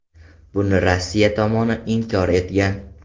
Buni Rossiya tomoni inkor etgan.